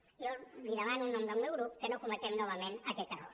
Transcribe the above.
jo li demano en nom del meu grup que no cometem novament aquest error